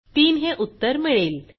तीन हे उत्तर मिळेल